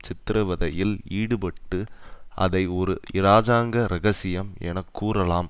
சித்திரவதையில் ஈடுபட்டு அதை ஒரு இராஜாங்க இரகசியம் என கூறலாம்